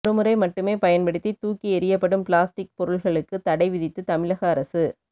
ஒருமுறை மட்டுமே பயன்படுத்தி தூக்கி எறியப்படும் பிளாஸ்டிக் பொருள்களுக்கு தடை விதித்து தமிழக அரசு